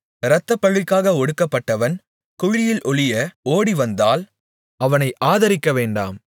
இரத்தப்பழிக்காக ஒடுக்கப்பட்டவன் குழியில் ஒளிய ஓடிவந்தால் அவனை ஆதரிக்கவேண்டாம்